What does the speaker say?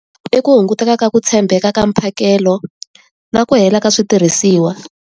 I ku hunguteka ka ku tshembeka ka mphakelo, na ku hela ka switirhisiwa.